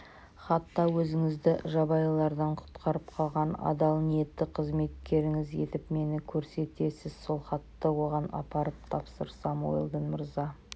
хатта өзіңізді жабайылардан құтқарып қалған адал ниетті қызметкеріңіз етіп мені көрсетесіз сол хатты оған апарып тапсырсам уэлдон мырза